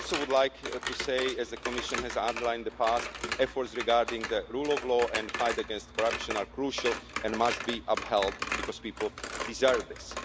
I also would like to say, as the Commission has outlined in the past, that efforts regarding the rule of law and fight against corruption are crucial and must be upheld, because people deserve this.